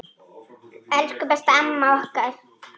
Elsku besta amma okkar.